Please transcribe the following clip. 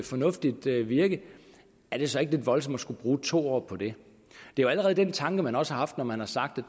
fornuftigt virke er det så ikke lidt voldsomt at skulle bruge to år på det det er jo den tanke man også har haft når man har sagt og